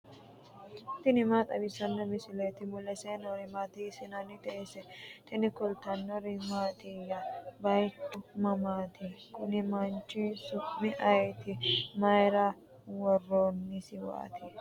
tini maa xawissanno misileeti ? mulese noori maati ? hiissinannite ise ? tini kultannori mattiya? Bayiichchu mamaatti? Kuni manchi su'mi ayiitti? Mayiira woroonnisiwaatti?